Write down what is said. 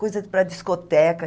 Coisa para discoteca.